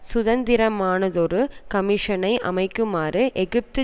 சுதந்திரமானதொரு கமிஷனை அமைக்குமாறு எகிப்து